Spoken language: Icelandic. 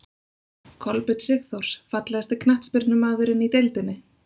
Kolbeinn sigþórs Fallegasti knattspyrnumaðurinn í deildinni?